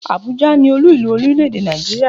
Abuja ni Olú ìlú orílè-èdè Nàìjíríà.